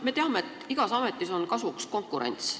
Me teame, et igas valdkonnas on kasuks konkurents.